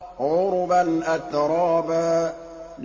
عُرُبًا أَتْرَابًا